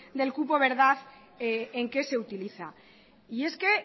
del cupo en qué se utiliza